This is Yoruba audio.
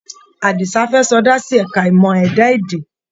Àdìsá fẹ́ sọdá sí ẹ̀ka ìmọ̀ ẹ̀dá-èdè.